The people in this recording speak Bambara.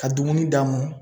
Ka dumuni d'a mɔn.